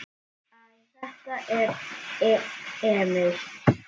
Hæ, þetta er Emil.